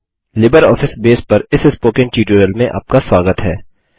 LibreOffice base पर इस spoken tutorial में आपका स्वागत है